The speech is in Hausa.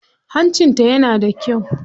Hancinta yana da kyau.